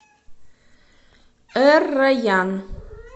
эр райян